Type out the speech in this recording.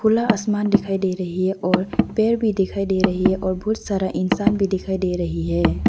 खुला आसमान दिखाई दे रही है और पैर भी दिखाई दे रही है और बहुत सारा इंसान भी दिखाई दे रही है।